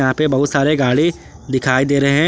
यहां पे बहुत सारे गाड़ी दिखाई दे रहे हैं।